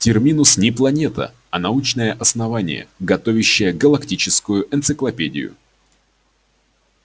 терминус не планета а научное основание готовящее галактическую энциклопедию